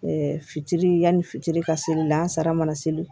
fitiri yanni fitiri ka seli la an sara mana seli